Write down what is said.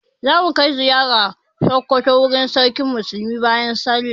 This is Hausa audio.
Za mu kai ziyara Sokoto wurin Sarkin Musulmi bayan sallah.